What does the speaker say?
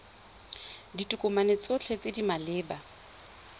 ditokomane tsotlhe tse di maleba